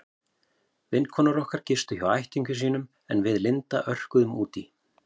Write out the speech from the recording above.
Vinkonur okkar gistu hjá ættingjum sínum en við Linda örkuðum út í